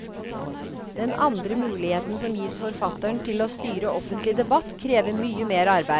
Den andre muligheten som gis forfatteren til å styre offentlig debatt, krever mye mer arbeid.